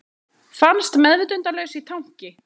Fannst meðvitundarlaus í tanki